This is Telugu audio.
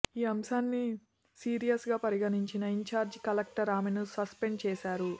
ఈ అంశాన్ని సీరియస్గా పరిగణించిన ఇంచార్జి కలెక్టర్ ఆమెను సస్పెండ్ చేశారు